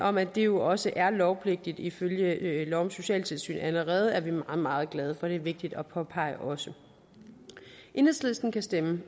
om at det jo også er lovpligtigt ifølge lov om socialtilsyn allerede er vi meget meget glade for det er vigtigt at påpege også enhedslisten kan stemme